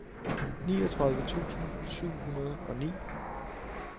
niogtredive tusind syv hundrede og ni